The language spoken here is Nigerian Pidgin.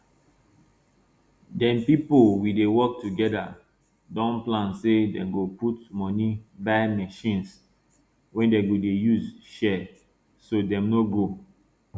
dem pipo we dey work together don plan say dem go put money buy machines wey dem go dey use share so dem no go